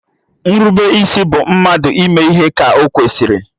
Nrubeisi bụ mmadụ ịme ihe ka ọkwesịrị